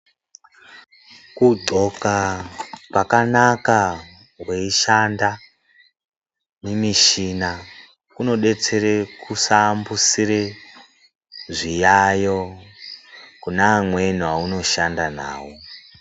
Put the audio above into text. Kundxoka kwakanaka weishanda mumishina kunodetsera kusaambusire zviyayo kune amweni aunoshanda nawo.